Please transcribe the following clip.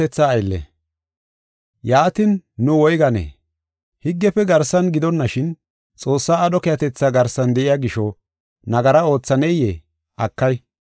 Yaatin, nu woyganee? Higgefe garsan gidonashin, Xoossaa aadho keehatetha garsan de7iya gisho nagara oothaneyee? Akay!